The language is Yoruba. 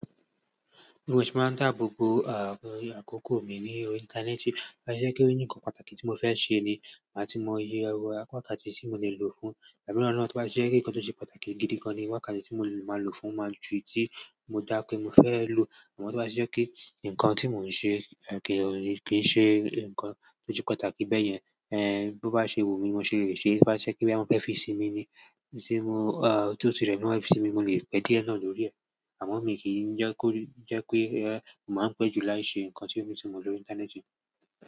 Bí mo ṣe máa ń dáàbò bo àkókò mi ní orí íńtánẹ́ẹ̀tì. Tó bá ti jẹ́ pé ó ní nǹkan pàtàkì tí mo fẹ́ ṣe ni, má ti mo yẹ̀wọ̀, wákàtí tí mo lè lò fún. Ẹ̀mí náà mo tó bá ti jẹ́ wípé nǹkan tó ṣe pàtàkì gidi gan-an ni, wákàtí tí mo máa lò fún máa ju tí mo dá pé mo fẹ́ lò. Àmọ́ tó bá ti jẹ́ pé nǹkan tí mò ń ṣe kì í ṣe nǹkan tó ju pàtàkì bẹ́yẹn, bó bá ṣe wù mí, mo ṣe lè ṣe é. Tó bá ṣe pé bóyá mo fẹ́ fi sinmi ni, nìṣe mo-- tí ó ti rẹ̀ mi wá fi sinmi, mo lè pẹ́ díẹ̀ náà lọ́rí ẹ. Àmọ́ mi ń kì í jẹ́ kó jẹ́ pé màá pẹ́ jù láì ṣe nǹkan tí mo ti lò íńtánẹ́ẹ̀tì.